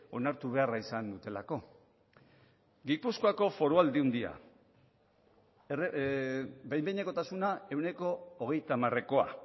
onartu beharra izan dutelako gipuzkoako foru aldundia behin behinekotasuna ehuneko hogeita hamarekoa